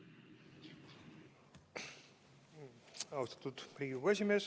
Austatud Riigikogu esimees!